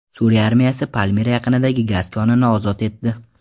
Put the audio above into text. Suriya armiyasi Palmira yaqinidagi gaz konini ozod etdi.